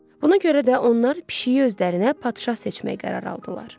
Buna görə də onlar pişiyi özlərinə padşah seçmək qərarı aldılar.